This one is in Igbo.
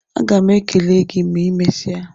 Agam ekele gị ma I mesia